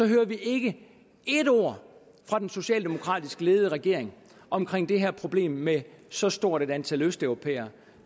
hører vi ikke et ord fra den socialdemokratisk ledede regering om det her problem med så stort et antal østeuropæere